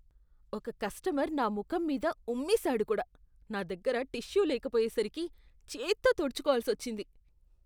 ఒక కస్టమర్ నా ముఖం మీద ఉమ్మేశాడు కూడా. నా దగ్గర టిష్యూ లేకపోయేసరికి చేత్తో తుడుచుకోవాల్సి వచ్చింది.